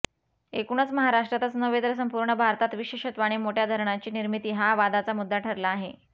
एकूणच महाराष्ट्रातच नव्हे तर संपूर्ण भारतात विशेषत्वाने मोठ्या धरणांची निर्मिती हा वादाचा मुद्दा ठरला आहे